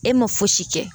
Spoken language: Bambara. E ma fosi kɛ